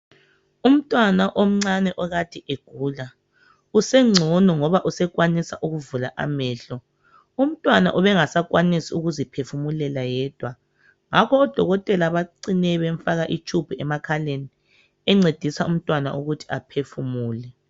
Umntwana omncane okade egula usengcono ngoba usekwanisa ukuvula amehlo. Umntwana ubengasakwanisi ukuziphefumulela yedwa ngakho odokotela bacine bemfaka itshubhu emakhaleni encedisa umntwana ukuthi aphefumule.